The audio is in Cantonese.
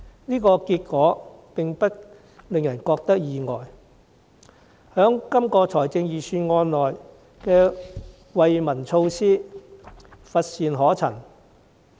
這樣的結果並不令人感到意外，這份預算案中的惠民措施乏善可陳。